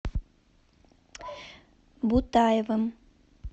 бутаевым